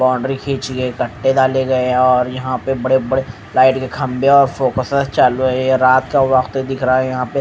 boundary खींची गई है कट्टे डाले गए हैं और यहां पे बड़े बड़े लाइट के खंभे और फोकसर चालू है ये रात का वक्त है दिख रहा है यहां पे--